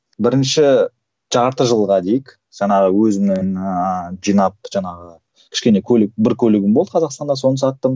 бірінші жарты жылға дейік жаңағы өзімнің ыыы жинап жаңағы кішкене көлік бір көлігім болды қазақстанда соны саттым